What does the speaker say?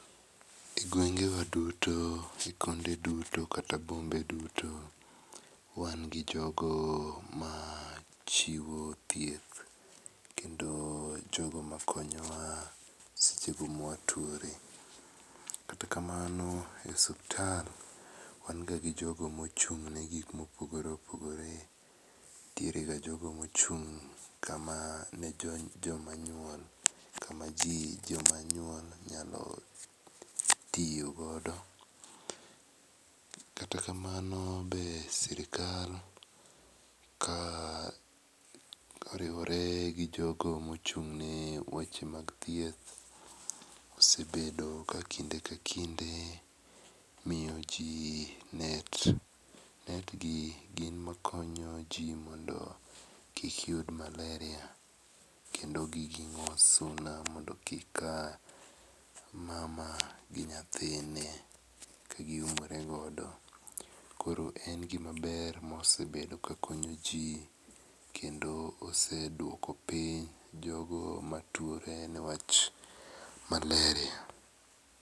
Ee gwenge wa duto gi konde duto kata bombe duto wan gi jogo ma chiwo thieth kendo jo ma konyowa seche go ma watuore. Kata kamano e osiptal wan ga gi jogo ma ochung ne gik ma opogore opogore. Nitiere ga jogo ma ochung kama ne jo ma nyuol kama jo ma nyuol nyalo tiyo godo, kata kamano be sirkal ka oriwore gi jogo ma ochung ne wach mag thieth osebedo ka kinde ka kinde miyo ji net. Net gi gin ma konyo ji mondo kik gi yud malaria kendo gi gingo suna mondo kik ka mama gi nyathine ka gi umore godo. Koro en gi ma ber ma osebdo ka konyo ji kendo oseduoko piny jogo ma tuore ne wach malaria.